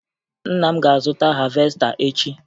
Nna m ga-azụta havesta echi